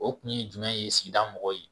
O kun ye jumɛn ye sigida mɔgɔw ye